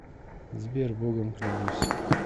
сбер богом клянусь